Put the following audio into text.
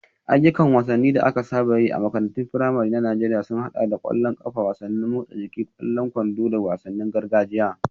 Ayyukan wasanni da aka saba yi a makarantun firamare na Najeriya sun haɗa da ƙwallon ƙafa, wasannin motsa jiki, ƙwallon kwando, da wasannin gargajiya.